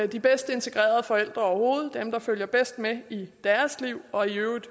de bedste integrerede forældre overhovedet det er dem der følger bedst med i deres liv og i øvrigt